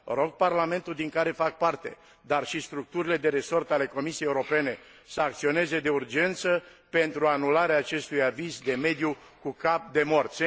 Rog Parlamentul din care fac parte, dar și structurile de resort ale Comisiei Europene, să acționeze de urgență pentru anularea acestui aviz de mediu cu cap de mort.